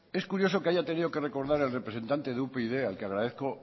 es curioso que haya tenido que recordad el representante de upyd al que agradezco